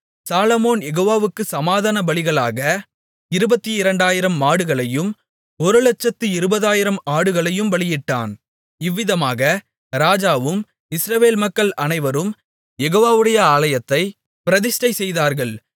சாலொமோன் யெகோவாவுக்குச் சமாதானபலிகளாக 22000 மாடுகளையும் ஒரு 120000 ஆடுகளையும் பலியிட்டான் இவ்விதமாக ராஜாவும் இஸ்ரவேல் மக்கள் அனைவரும் யெகோவாவுடைய ஆலயத்தைப் பிரதிஷ்டை செய்தார்கள்